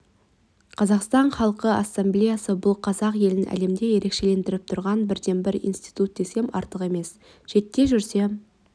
қазақстан халқы ассамблеясы бұл қазақ елін әлемде ерекшелендіріп тұрған бірден-бір институт десем артық емес шетте жүрсем